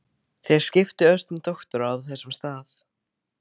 Þeir skiptu ört um doktora á þessum stað.